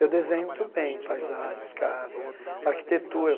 Eu desenho muito bem paisagens, casas, arquitetura.